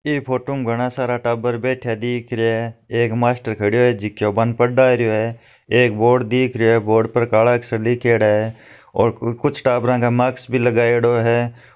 ई photo में घणा सारा टाबर बैठया दिख रिया है एक मास्टर खड़यो है जको बाने पढ़ा रहियो है एक बोर्ड रहियो है बोर्ड पर काला अक्षर लिखेड़ा है और कु कुछ टाबरा के मास्क भी लगायोडो है।